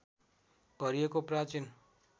भरिएको प्राचीन